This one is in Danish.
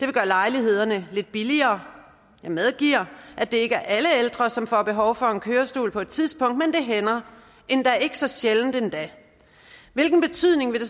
lejlighederne lidt billigere jeg medgiver at det ikke er alle ældre som får behov for en kørestol på et tidspunkt men det hænder ikke så sjældent endda hvilken betydning vil